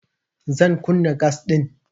Zan kunna gas ɗin.